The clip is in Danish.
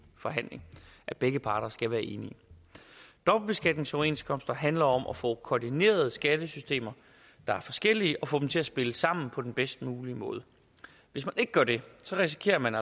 forhandling begge parter skal være enige dobbeltbeskatningsoverenskomster handler om at få koordineret skattesystemer der er forskellige og få dem til at spille sammen på den bedst mulige måde hvis man ikke gør det risikerer man